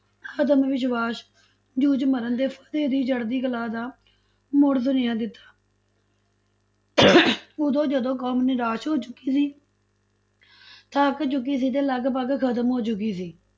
ਆਤਮ ਵਿਸਵਾਸ਼, ਜੂਝ ਮਰਨ ਤੇ ਫਤਿਹ ਦੀ ਚੜ੍ਹਦੀ ਕਲਾ ਦਾ ਮੁੜ ਸੁਨੇਹਾਂ ਦਿੱਤਾ ਉਦੋਂ ਜਦੋਂ ਕੌਮ ਨਿਰਾਸ਼ ਹੋ ਚੁੱਕੀ ਸੀ ਥੱਕ ਚੁੱਕੀ ਸੀ ਤੇ ਲਗਪਗ ਖਤਮ ਹੋ ਚੁੱਕੀ ਸੀ।